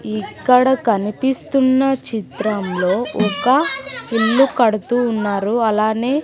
ఇక్కడ కనిపిస్తున్న చిత్రంలో ఒక ఇల్లు కడుతూ ఉన్నారు అలానే--